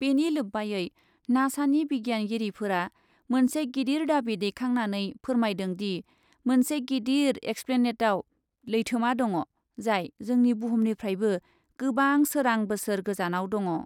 बेनि लोब्बायै नासानि बिगियानगिरिफोरा मोनसे गिदिर दाबि दैखांनानै फोरमायदोंदि , मोनसे गिदिर एक्सप्लेनेटआव लैथोमा दङ , जाय जोंनि बुहुमनिफ्रायबो गोबां सोरां बोसोर गोजानाव दङ ।